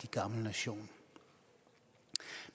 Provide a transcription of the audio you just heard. synes